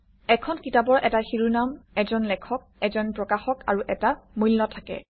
এখন কিতাপৰ এটা শিৰোনাম এজন লেখক এজন প্ৰকাশক আৰু এটা মূল্য থাকে